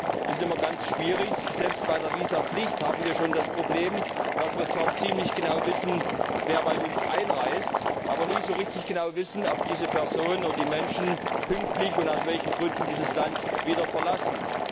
Für mich ist es immer ganz schwierig Selbst bei der Visapflicht haben wir schon das Problem, dass wir zwar ziemlich genau wissen, wer bei uns einreist, aber nie so richtig genau wissen, ob diese Person oder die Menschen pünktlich und aus welchen Gründen dieses Land wieder verlassen.